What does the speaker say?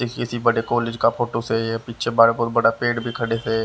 किसी बड़े कॉलेज का फोटो से ये पीछे बड़ा बहुत बड़ा पेड़ भी खड़े थे।